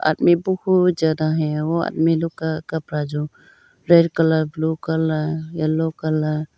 मेरे को बहुत ज्यादा है। वह आदमी लोग का कपड़ा जो red colour blue colour yellow colour.